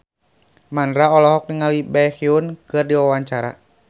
Mandra olohok ningali Baekhyun keur diwawancara